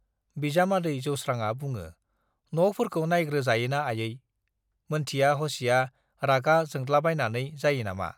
बिजामादै जौस्रांआ बुङो, न'फोरखौ नाइग्रो जायो ना आयै, मोनथिया हसिया रागा जोंद्लाबायनानै जायो नामा?